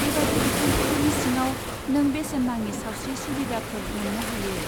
बेबादि बिथांखिफोरनि सिङाव, नों बेसेन नाङि सावस्रि सुबुदाफोर मोन्नो हायो।